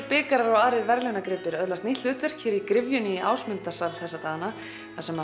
bikarar og aðrir verðlaunagripir öðlast nýtt hlutverk hér í gryfjunni í Ásmundarsal þessa dagana þar sem